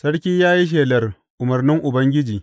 Sarki ya yi shelar umarnin Ubangiji.